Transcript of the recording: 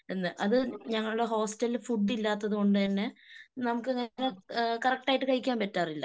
ന്ന് അത് ഞങ്ങടെ ഹോസ്റ്റലിൽ ഫുഡ് ഇല്ലാത്തത് കൊണ്ടുതന്നെ നമുക്ക് നേരെ കറക്റ്റായിട്ട് കഴിക്കാൻ പറ്റാറില്ല.